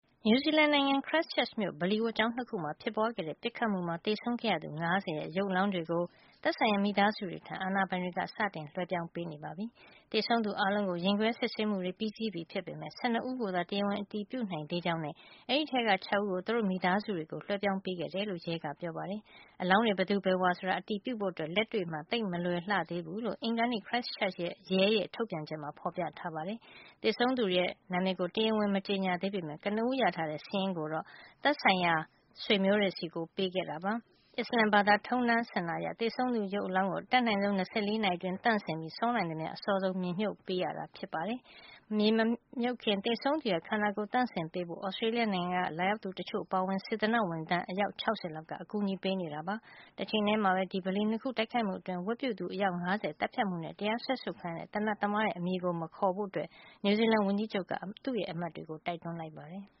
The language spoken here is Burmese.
နယူးဇီလန်နိုင်ငံ Christchurch မြို့ ဗလီဝတ်ကျောင်း ၂ ခုမှာ ဖြစ်ပွားခဲ့တဲ့ ပစ်ခတ်မှုမှာ သေဆုံးခဲ့ရသူ ၅၀ ရဲ့ ရုပ်အလောင်းတွေကို သက်ဆိုင်ရာ မိသားစုတွေထံ အာဏာပိုင်တွေ က စတင်လွှဲပြောင်းပေးနေပြီဖြစ်ပါတယ်။ သေဆုံးသူအားလုံးကို ရင်ခွဲစစ်ဆေးမှုတွေ ပြီးစီးပြီဖြစ်ပေမယ့် ၁၂ ဦးကိုသာ တရားဝင် အတည်ပြုနိုင်သေးကြောင်းနဲ့ အဲဒီထဲက ၆ ဦးကို သူတို့ မိသားစုတွေကို လွှဲပြောင်းပေး ခဲ့တယ်လို့ ရဲက ပြောပါတယ်။ အလောင်းတွေ ဘယ်သူဘယ်ဝါဆိုတာ အတည်ပြုဖို့ အတွက် လက်တွေ့မှာ သိပ်မလွယ်လှသေးဘူးလို့ အင်္ဂါနေ့ Christchurch ရဲ ထုတ်ပြန်ချက်မှာ ဖေါ်ပြထားပါတယ်။ သေဆုံးသူတွေရဲ့ နာမည်တွေကို တရားဝင် မကြေညာသေးပေမယ့် ကနဦးရထားတဲ့ စာရင်းကိုတော့ သက်ဆိုင်ရာ ဆွေမျိုးတွေဆီ ပေးခဲ့ပါတယ်။ အစ္စလာမ်ဘာသာ ထုံးတမ်းစဉ်လာအရ သေဆုံးသူရဲ့ အလောင်းကို အတတ်နိုင်ဆုံး ၂၄ နာရီအတွင်း သန့်စင်ပြီး စောနိုင်သမျှ အစောဆုံး မြေမြှုပ်ပေးရတာ ဖြစ်ပါတယ်။ ဓလေ့ထုံးစံအရ မြေမမြှုပ်ခင် သေဆုံးသူရဲ့ ခန္ဓာကိုယ်ကို သန့်စင်ပေးဖို့အတွက် သြစတြေးလျနိုင်ငံက လာရောက်သူတချို့အပါအဝင် စေတနာ့ ဝန်ထမ်း အယောက် ၆၀ လောက်က အကူအညီ ပေးနေပါတယ်။ တချိန်တည်းမှာပဲ ဒီ ဗလီ၂ခုကို တိုက်ခိုက်မှုတွင်း ဝတ်ပြုသူ အယောက် ၅၀ ကို သတ်ဖြတ်ခဲ့မှုနဲ့ တရားစွဲဆိုခံခဲ့ရတဲ့ သေနတ်သမားနဲ့ နာမည်ကို မခေါ်ဖို့ နယူးဇီလန်ဝန်ကြီးချုပ် Jacinda Ardern က အမတ်တွေကို တိုက်တွန်း လိုက်ပါတယ်။